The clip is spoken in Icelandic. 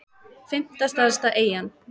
fimmta stærsta eyjan